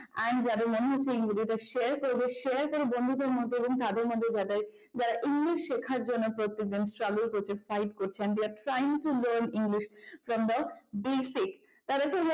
and যাদের মনে হচ্ছে এই ভিডিওটা share করবে share করো বন্ধুদের মধ্যে এবং তাদের মধ্যে যাদের english শেখার জন্য প্রত্যেক দিন struggle করছে fight করছে and they are trying to learn english from the basic তাদের জন্য